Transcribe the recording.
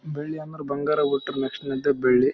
ಬೆಳ್ಳಿದು ಸ್ಪಂದಗಳು ಚನಾಗಿದವೇ ಹಿಂದೇನು ಮೂರ್ತಿಗಳು ಇದಾವೆ ಚನಾಗಿದವೆ ಎಲ್ಲಾ--